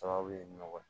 Sababu ye nɔgɔ ye